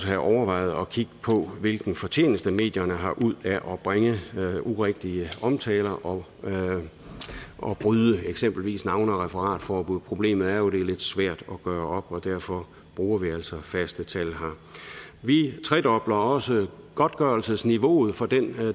have overvejet at kigge på hvilken fortjeneste medierne har ud af at bringe urigtige omtaler og bryde eksempelvis navne og referatforbud problemet er jo at det er lidt svært at gøre og derfor bruger vi altså faste tal her vi tredobler også godtgørelsesniveauet for den